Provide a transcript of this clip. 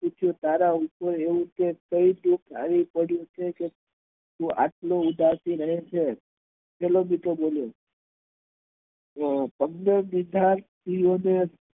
તારા ઉપર તો આવું તો કયું દુખ આવી પડ્યું છે તું એટલો ઉદાસ રહે છે પેલો મિત્ર બોલ્યો